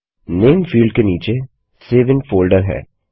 नामे field के नीचे save in folder है